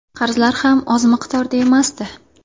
Qarzlar ham oz miqdorda emasdi.